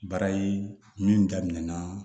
Baara ye min daminɛna